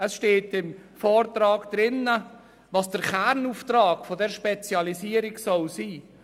Es steht im Vortrag, was der Kernauftrag dieser Spezialisierung sein soll: